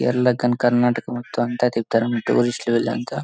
రళకి గని కర్ణాటక మొత్తం అంతా తిప్పుతారు. టూరిస్ట్ లు వీలంత--